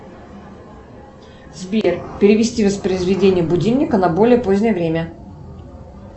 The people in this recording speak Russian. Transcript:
сбер перевести воспроизведение будильника на более позднее время